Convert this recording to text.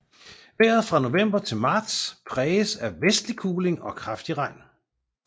Vejret fra november til marts præges af vestlig kuling og kraftig regn